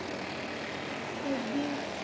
এডি